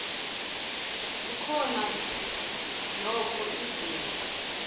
zikhona nokho izimo